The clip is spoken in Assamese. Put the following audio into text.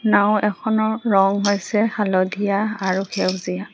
নাওঁ এখনৰ ৰং হৈছে হালধীয়া আৰু সেউজীয়া।